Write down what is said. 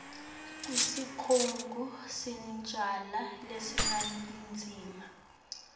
kusikhungo selincusa laseningizimu